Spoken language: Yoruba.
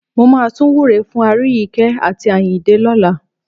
Mo máa tún wúre fún Aríyìíkẹ́ àti Àyìndé lọ́la.